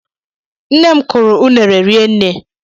Nne m kuru unere rinne